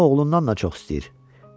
Kişi səni oğlundan da çox istəyir.